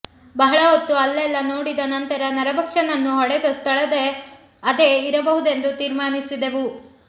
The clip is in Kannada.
ಬಹಳ ಹೊತ್ತು ಅಲ್ಲೆಲ್ಲಾ ನೋಡಿದ ನಂತರ ನರಭಕ್ಷಕನನ್ನು ಹೊಡೆದ ಸ್ಥಳ ಅದೇ ಇರಬಹುದೆಂದು ತೀರ್ಮಾನಿಸಿದೆವು